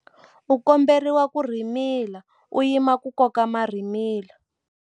U komberiwa ku rhimila u yima ku koka marhimila.